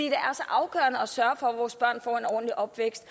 og at sørge for at vores børn får en ordentlig opvækst